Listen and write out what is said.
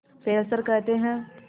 Fessler कहते हैं